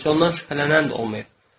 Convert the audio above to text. Heç ondan şübhələnən də olmayıb.